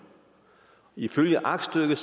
ifølge aktstykket